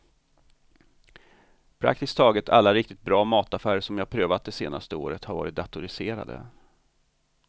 Praktiskt taget alla riktigt bra mataffärer som jag provat det senaste året har varit datoriserade.